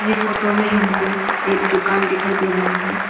Photo मे हमको एक दुकान दिखाई दे रहा है।